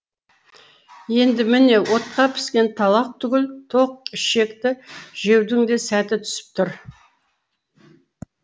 енді міне отқа піскен талақ түгіл тоқ ішекті жеудің де сәті түсіп тұр